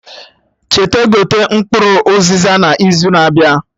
Cheta gote mkpụrụ Uziza na izu na-abịa